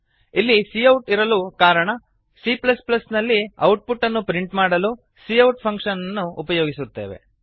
ಇಲ್ಲಿ ಸಿಔಟ್ ಇರಲು ಕಾರಣ c ನಲ್ಲಿ ಔಟ್ ಪುಟ್ ಅನ್ನು ಪ್ರಿಂಟ್ ಮಾಡಲು ಸಿಔಟ್ ಫಂಕ್ಷನ್ ಅನ್ನು ಉಪಯೋಗಿಸುತ್ತೇವೆ